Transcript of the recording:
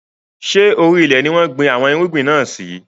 Ṣé orí ilẹ̀ ni wọn gbìn àwọn irúgbìn náà sì?